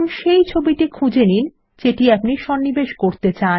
এখন সেই ছবিটি খুঁজে নিন যা আপনি সন্নিবেশ করাতে চান